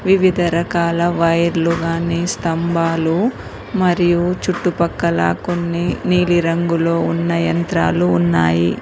ఇవి తెరకల వైర్లు కానీ స్తంభాలు మరియు చుట్టు పక్కల కొన్ని నీలి రంగులో ఉన్న యంత్రాలు ఉన్నాయి.